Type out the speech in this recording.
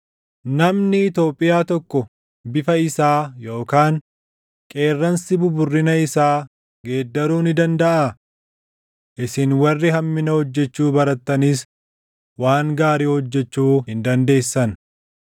Namni Itoophiyaa tokko bifa isaa yookaan qeerransi buburrina isaa geeddaruu ni dandaʼaa? Isin warri hammina hojjechuu barattanis waan gaarii hojjechuu hin dandeessan.